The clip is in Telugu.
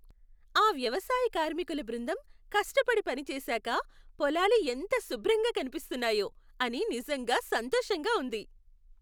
ఆ వ్యవసాయ కార్మికుల బృందం కష్టపడి పనిచేశాక పొలాలు ఎంత శుభ్రంగా కనిపిస్తున్నాయో అని నిజంగా సంతోషంగా ఉంది.